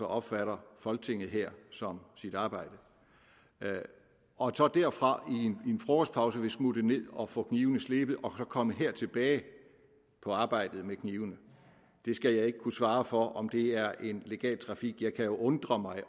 opfatter folketinget her som sit arbejde og derfra i en frokostpause vil smutte ned og få knivene slebet og så komme her tilbage på arbejdet med knivene jeg skal ikke kunne svare for om det er en legal trafik jeg kan jo undre mig